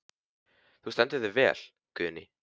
Þú stendur þig vel, Guðný!